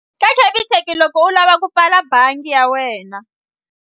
Ka Capitec loko u lava ku pfala bangi ya wena.